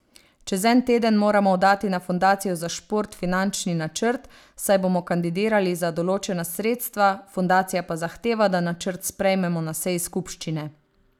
Čez en teden moramo oddati na Fundacijo za šport finančni načrt, saj bomo kandidirali za določena sredstva, fundacija pa zahteva, da načrt sprejmemo na seji skupščine.